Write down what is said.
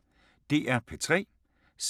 DR P3